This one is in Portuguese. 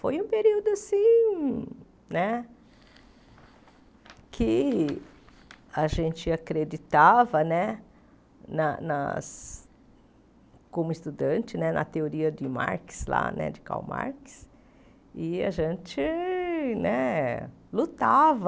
Foi um período assim né que a gente acreditava né nas nas como estudante né na teoria de Marx lá né, de Karl Marx, e a gente né lutava.